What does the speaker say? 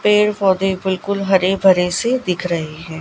पेड़ पौधे बिल्कुल हरे भरे से दिख रही हैं।